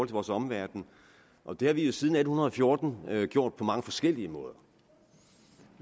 vores omverden og det har vi jo siden atten fjorten gjort på mange forskellige måder